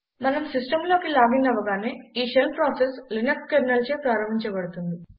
మనం సిస్టంలోకి లాగిన్ అవ్వగానే ఈ షెల్ ప్రాసెస్ లినక్స్ కెర్నెల్చే ప్రారంభించబడుతుంది